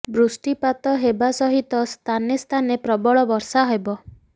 ବୃଷ୍ଟିପାତ ହେବା ସହିତ ସ୍ଥାନେ ସ୍ଥାନେ ପ୍ରବଳ ବର୍ଷା ହେବ